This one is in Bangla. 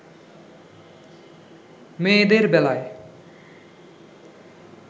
মেয়েদের বেলায়